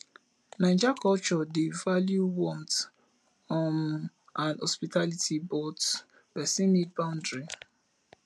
naija culture dey value warmth um and hospitality but pesin need boundary